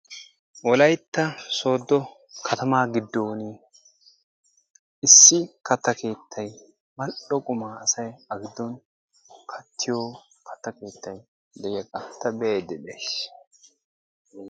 Wolaytta sooddo katamaa giddooni issi quma keettay keeippe mal"o qumaa asay A giddon kattiyogee de'iyagaa ta be'aydda de'ays.